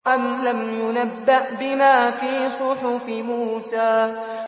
أَمْ لَمْ يُنَبَّأْ بِمَا فِي صُحُفِ مُوسَىٰ